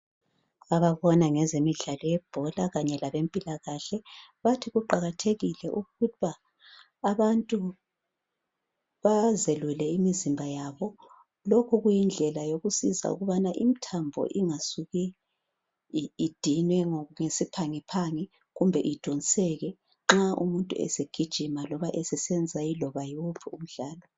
Ababona ngezemidlalo yebhola Kanye labempilakahle bathi kuqakathekile ukuthi abantu bazelule imizimba yabo. Lokhu kuyindlela yokusiza ukubana imithambo ingasuki idinwe ngesiphangiphangi kumbe idonseke nxa umuntu esegijima loba esesenza omunye umdlalo.